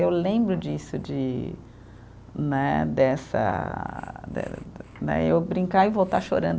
Eu lembro disso, de né, dessa, né eu brincar e voltar chorando.